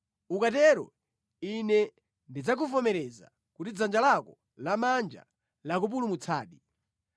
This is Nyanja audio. Ukatero Ine ndidzakuvomereza kuti dzanja lako lamanja lakupulumutsadi.